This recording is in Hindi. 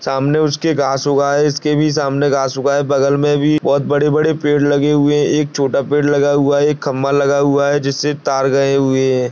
सामने उसके घास उगा है इसके भी सामने घास उगा है बगल में भी बहुत बड़े-बड़े पेड़ लगे हुए हैं एक छोटा पेड़ लगा हुआ है एक खंभा लगा हुआ है जिससे तार गए हुए हैं।